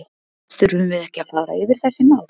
Þurfum við ekki að fara yfir þessi mál?